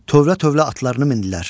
Tövlə-tövlə atlarını mindilər.